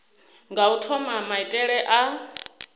nga u thoma maitele a